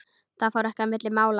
Það fór ekki milli mála.